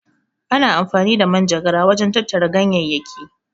Ana amfani da manjagara wajen tattara ganyayyaki.